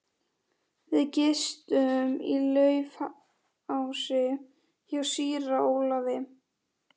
Við gistum í Laufási hjá síra Ólafi.